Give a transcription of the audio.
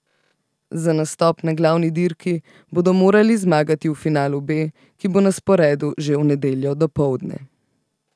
Za nastop na glavni dirki bodo morali zmagati v finalu B, ki bo na sporedu že v nedeljo dopoldne.